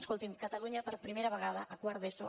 escolti’m catalunya per primera vegada a quart d’eso